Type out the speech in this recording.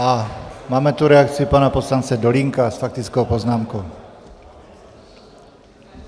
A máme tu reakci pana poslance Dolínka s faktickou poznámkou.